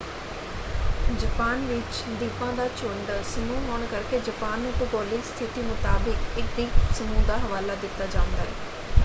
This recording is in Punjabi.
ਜਪਾਨ ਵਿੱਚ ਦੀਪਾਂ ਦਾ ਝੁੰਡ/ਸਮੂਹ ਹੋਣ ਕਰਕੇ ਜਪਾਨ ਨੂੰ ਭੂਗੋਲਿਕ ਸਥਿਤੀ ਮੁਤਾਬਕ ਇੱਕ ਦੀਪ ਸਮੂਹ ਦਾ ਹਵਾਲਾ ਦਿੱਤਾ ਜਾਂਦਾ ਹੈ